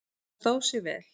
Það stóð sig vel.